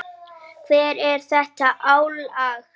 Hvar er þetta álag?